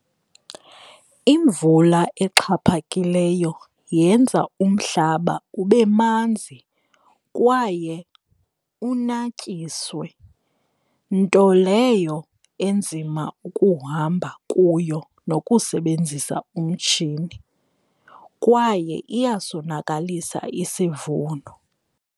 Imvula exhaphakileyo yenza umhlaba ube manzi kwaye unatyiswe nto leyo enzima ukuhamba kuyo nokusebenzisa umtshini kwaye iyasonakalisa isivuno.